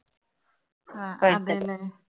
ആ, അതേല്ലേ.